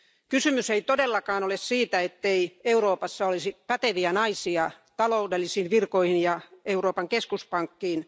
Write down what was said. Kysymys ei todellakaan ole siitä, ettei Euroopassa olisi päteviä naisia taloudellisiin virkoihin ja Euroopan keskuspankkiin.